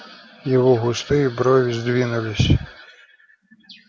его густые брови сдвинулись